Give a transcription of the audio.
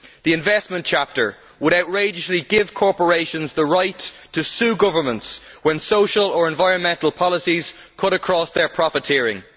The investment chapter would, outrageously, give corporations the right to sue governments when social or environmental policies cut across their profiteering.